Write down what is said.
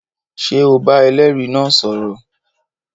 Ṣé o bá ẹlẹ́rìí náà sọ̀rọ̀?